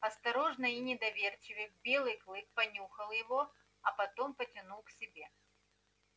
осторожно и недоверчиво белый клык понюхал его а потом потянул к себе